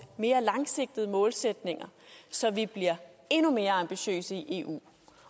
mere langsigtede målsætninger så vi bliver endnu mere ambitiøse i eu